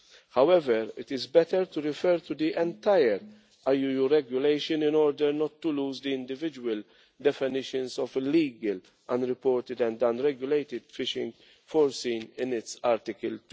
However, it is better to refer to the entire IUU Regulation in order not to lose the individual definitions of illegal, unreported and unregulated fishing' foreseen in its Article